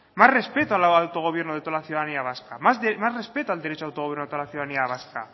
más respeto al autogobierno de toda la ciudadanía vasca más respeto al derecho de autogobierno de toda la ciudadanía vasca